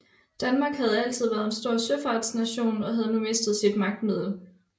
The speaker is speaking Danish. Danmark havde altid været en stor søfartsnation og havde nu mistet sit magtmiddel